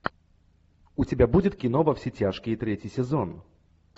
у тебя будет кино во все тяжкие третий сезон